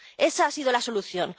esa ha sido la solución.